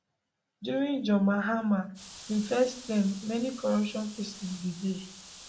during john mahama im first term many corruption cases bin dey